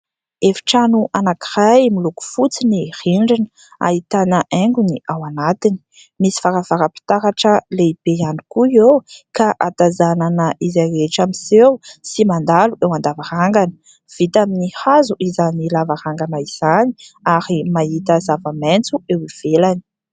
efy-trano anankiray miloko fotsy ny rindrina ahitana aingony ao anatiny misy faravara-pitaratra lehibe hany koa eo ka hatazanana izay rehetra miseho sy mandalo eo an-davarangana vita amin'ny hazo izany lavarangana izany ary mahita zavamaintso eo ivelany